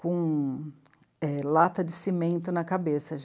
com é... lata de cimento na cabeça.